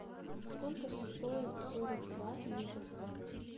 сколько стоит сорок два ливр